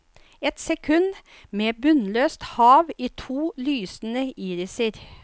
Et sekund med bunnløst hav i to lysende iriser.